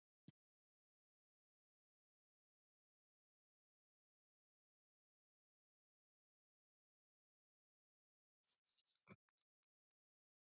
Biskupssveinarnir svöruðu engu og það varð vandræðaleg þögn.